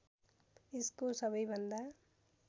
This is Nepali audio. यसको सबैभन्दा